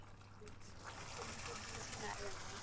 ਮਨਾਇਆ ਜਾਂਦਾ ਹੈ